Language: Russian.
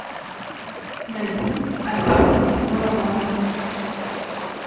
найти алексея балабанова